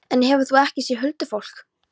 En hefur þú ekki séð huldufólk?